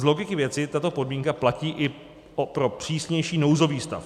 Z logiky věci tato podmínka platí i pro přísnější nouzový stav.